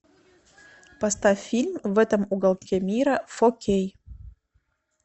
поставь фильм в этом уголке мира фо кей